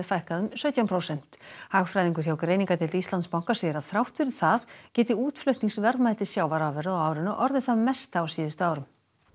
fækkaði um sautján prósent hagfræðingur hjá greiningardeild Íslandsbanka segir að þrátt fyrir það geti útflutningsverðmæti sjávarafurða á árinu orðið það mesta á síðustu árum